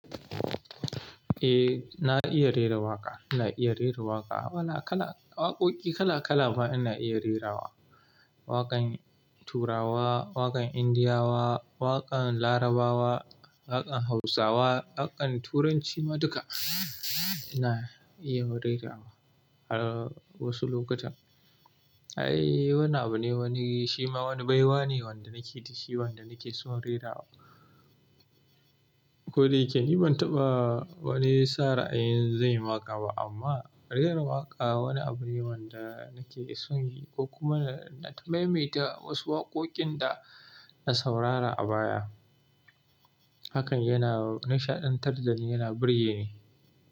Eh, na iya rera waƙa. Ina iya rera waƙa. Waƙoƙi kala kala ma ina iya rerawa. Waƙan Turawa, waƙan Indiyawa, waƙan Larabawa, waƙan Hausawa, waƙan Turanci ma duka ina iya rerawa a wasu lokutan. Ai, wannan abu ne wani shima wani baiwa ne wanda nake dsshi wanda nake son rerawa. Ko da yake ni ban taɓa wani sa ra'ayin zan yi waƙa ba amma rera waƙa wani abu ne wanda nake son yi ko kuma nai ta maimaita wasu waƙoƙin da na saurara a baya. Hakan yana nishaɗantar da ni, yana burge ni.